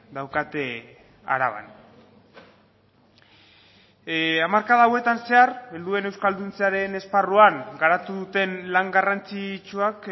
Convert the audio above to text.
daukate araban hamarkada hauetan zehar helduen euskalduntzearen esparruan garatu duten lan garrantzitsuak